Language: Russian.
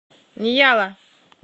ньяла